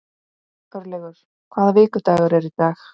Örlygur, hvaða vikudagur er í dag?